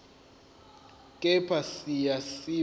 kepha siya siba